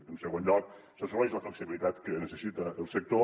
en segon lloc s’assoleix la flexibilitat que necessita el sector